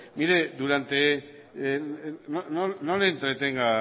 no le entretenga